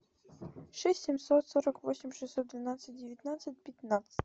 шесть семьсот сорок восемь шестьсот двенадцать девятнадцать пятнадцать